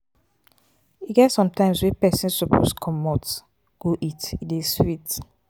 e get sometimes wey pesin pesin suppose comot go eat e dey sweet.